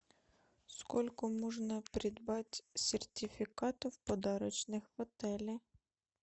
сколько можно сертификатов подарочных в отеле